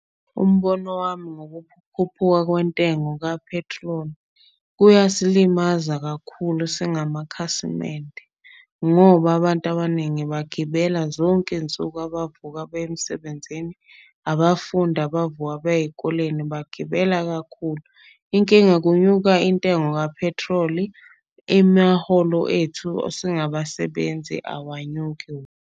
Umbono wami kwentengo ka-petrol, kuyasilimaza kakhulu singamakhasimende. Ngoba abantu abaningi bagibela zonke insuku abavuka beye emsebenzini. Abafundi abavuka baye eyikoleni bagibela kakhulu. Inkinga kunyuka intengo ka-petrol imaholo ethu singaba sebenzi awanyuki.